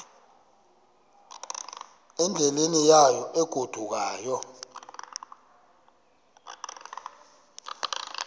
endleleni yayo egodukayo